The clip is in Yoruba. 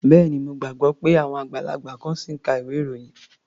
Bẹ́ẹ̀ni. Mo gbàgbọ́ pé àwọn àgbàlagbà kan ṣì ń ka ilwé-ìròyìn.